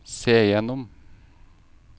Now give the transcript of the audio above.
se gjennom